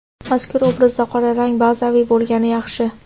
Mazkur obrazda qora rang bazaviy bo‘lgani yaxshi.